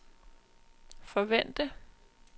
forvente